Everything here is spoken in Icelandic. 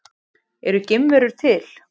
Eru geimverur til?